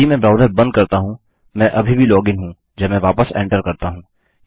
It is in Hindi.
यदि मैं ब्राउजर बंद करता हूँ मैं अभी भी लॉग इन हूँ जब मैं वापस एंटर करता हूँ